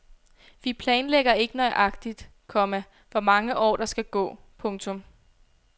Vi planlægger ikke nøjagtigt, komma hvor mange år der skal gå. punktum